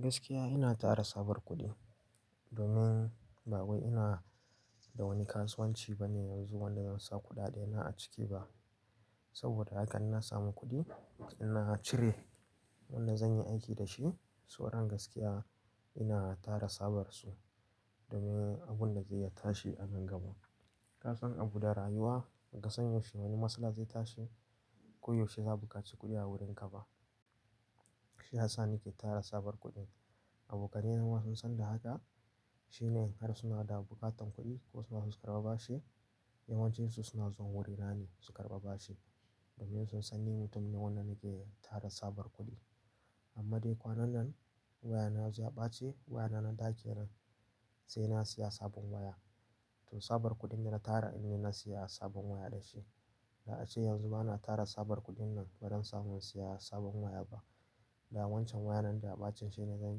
Gaskiya ina tara sabar kuɗi domin ba wai ina da wani kasuwanci bane yanzu wanda zan sa kuɗaɗena a ciki ba. Saboda haka in na samu kuɗi, ina cire wannan zan yi aiki da shi. Sa'an nan gaskiya ina tara sabarsu domin abun da zai ya tashi a nan gaba. Ka san abu da rayuwa, ka san yaushe wani matsala zai tashi, ko yaushe za buƙaci kuɗi a wurinka ba. Shi Hassa nake tara sabar kuɗi. Abokanai na ma sun san da haka shine in har suna da buƙatar kuɗi ko suna so su karɓa bashi, yawancinsu suna zuwa wurinaei su karɓa bashi domin sun san ni mutum ne wannan yake tara sabar kuɗi. Amma dai kwanan nan wayana ya ɓace, waya nan ɗaki iran sai na siya sabon waya. To sabar kuɗin da na tara ni ne na siya sabon waya da shi. Da ace yanzu bana tara sabar kuɗin nan ba don samun siya sabon waya ba. Ga wancan waya nan da ya ɓace shine zan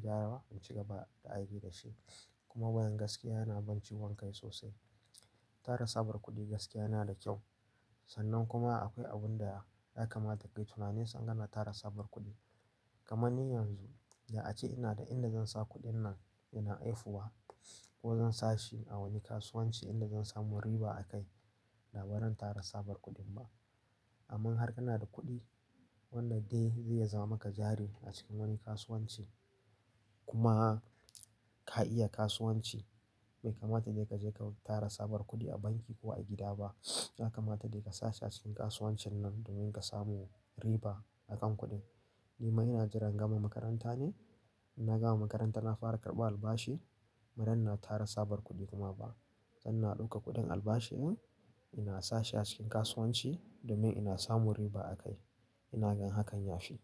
gyara ba in ci gaba da aiki da shi. Kuma wayan gaskiya yana ban ciwon kai sosai. Tara sabar kuɗi gaskiya yana da kyau. Sannan kuma akwai abun da ya kamata ka yi tunanin sangan na tara sabar kuɗi. Kamanni yanzu da ace ina da inda zan sa kuɗin nan ina aifuwa ko zan sa shi a wani kasuwanci inda zan samu riba a kai da ba zan tara sabar kuɗin ba. Amma har kana da kuɗi wannan dai zai zama maka jari a cikin wani kasuwanci. Kuma ka iya kasuwanci bai kamata dai ka je ka tara sabar kuɗi a banki ko a gida ba. Ya kamata dai ka saci acikin kasuwancin nan domin ka samu riba a kan kuɗin. Ni ma ina jiran gama makaranta ne. In na gama makaranta na fara karɓar albashi, ba zan na tara sabar kuɗi kuma ba. Zan na ɗauka kuɗin albashin ina sa shi a cikin kasuwanci domin ina samu riba a kai. Ina gan hakan ya fi.